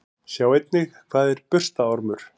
Sjá einnig: Hvað er burstaormur?